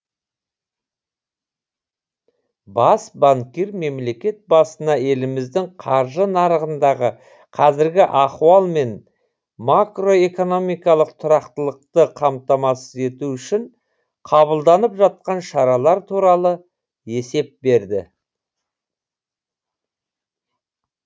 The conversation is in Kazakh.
бас банкир мемлекет басына еліміздің қаржы нарығындағы қазіргі ахуал мен макро экономикалық тұрақтылықты қамтамасыз ету үшін қабылданып жатқан шаралар туралы есеп берді